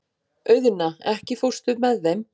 Auðna, ekki fórstu með þeim?